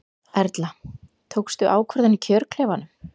Erla: Tókstu ákvörðun í kjörklefanum?